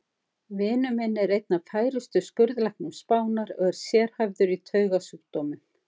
Vinur minn er einn af færustu skurðlæknum Spánar og er sérhæfður í taugasjúkdómum.